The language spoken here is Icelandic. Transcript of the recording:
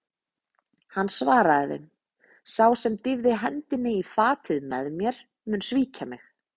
Hann svaraði þeim: Sá sem dýfði hendi í fatið með mér, mun svíkja mig.